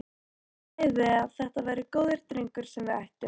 Hún sagði að þetta væri góður drengur sem við ættum.